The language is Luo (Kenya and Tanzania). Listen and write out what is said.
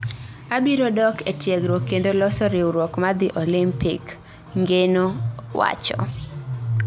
Abiro dok ee tiegruok kendo loso riwruok madhi Olympic, Ngeno wacho